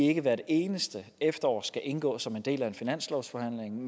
ikke hvert eneste efterår skal indgå som en del af en finanslovsforhandling